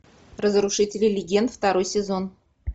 разрушители легенд второй сезон